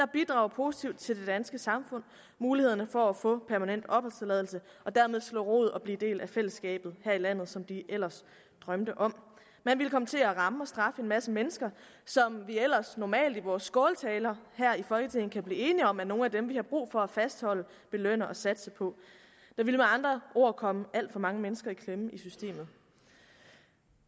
bidrager positivt til det danske samfund mulighederne for at få permanent opholdstilladelse og dermed slå rod og blive en del af fællesskabet her i landet som de ellers drømte om man ville komme til at ramme og straffe en masse mennesker som vi ellers normalt i vores skåltaler her i folketinget kan blive enige om er nogle af dem vi har brug for at fastholde og belønne og satse på der ville med andre ord komme alt for mange mennesker i klemme i systemet